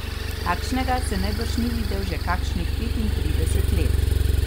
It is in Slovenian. Takšnega se najbrž ni videl že kakšnih petintrideset let.